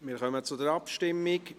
Wir kommen zur Abstimmung.